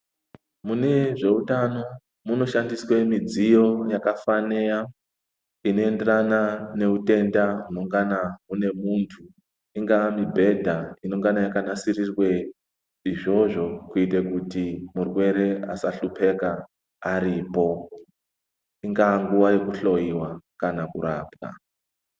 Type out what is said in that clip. Mune zveutano muno shandiswe midziyo yaka fanira ino enderana ne hutenda hunongana hune muntu ingava mubhedha inongana yaka nasirirwe izvozvo kuite kuti murwere asa hlupeka aripo ingaa nguva yeku hloyiwa kana kurapwa.